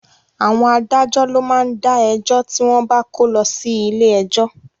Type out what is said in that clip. Àwọn adájọ́ ló má ń dá ẹjọ́ tí wọ́n bá kó lọ sí ilé ẹjọ́